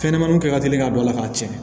Fɛnɲɛnɛmaninw ka teli ka don a la k'a tiɲɛ